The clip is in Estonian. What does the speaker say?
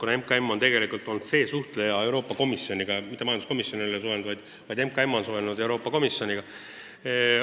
Just MKM on olnud tegelik Euroopa Komisjoniga suhtleja: mitte majanduskomisjon, vaid MKM on suhelnud Euroopa Komisjoniga.